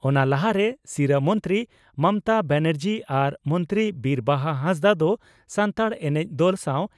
ᱚᱱᱟ ᱞᱟᱦᱟᱨᱮ ᱥᱤᱨᱟᱹ ᱢᱚᱱᱛᱨᱤ ᱢᱚᱢᱚᱛᱟ ᱵᱟᱱᱟᱨᱡᱤ ᱟᱨ ᱢᱚᱱᱛᱨᱤ ᱵᱤᱨ ᱵᱟᱦᱟ ᱦᱟᱸᱥᱫᱟᱜ ᱫᱚ ᱥᱟᱱᱛᱟᱲ ᱮᱱᱮᱡ ᱫᱚᱞ ᱥᱟᱣ